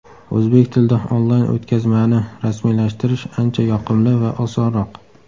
O‘zbek tilida onlayn o‘tkazmani rasmiylashtirish ancha yoqimli va osonroq.